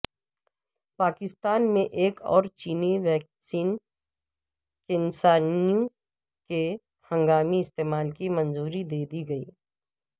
پاکستان میں ایک اور چینی ویکسین کینسائنو کے ہنگامی استعمال کی منظوری دیدی گئی